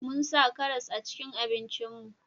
Mun sa karas a cikin abinci mu